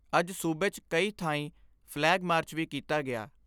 ਅੱਜ ਸੂਬੇ 'ਚ ਕਈਂ ਥਾਈਂ ਫਲੈਗ ਮਾਰਚ ਵੀ ਕੀਤਾ ਗਿਆ।